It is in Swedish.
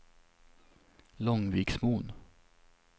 Långviksmon